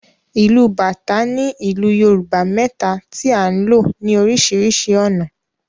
Ìlù bàtá ni ìlù Yorùbá mẹ́ta tí a ń lò ní oríṣiríṣi ọ̀nà.